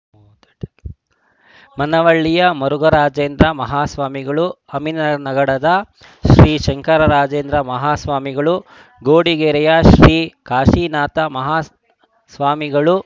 ಮನವಳ್ಳಿಯ ಮುರುಘರಾಜೇಂದ್ರ ಮಹಾಸ್ವಾಮಿಗಳು ಅಮಿನಗಡದ ಶ್ರೀಶಂಕರಾಜೇಂದ್ರ ಮಾಹಾಸ್ವಾಮಿಗಳು ಘೋಡಗೇರಿಯ ಶ್ರೀ ಕಾಶೀನಾಥಮಾಹಾಸ್ವಾಮಿಗಳು